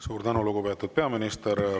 Suur tänu, lugupeetud peaminister!